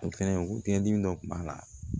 O fɛnɛ o kelen dimi dɔ kun b'a la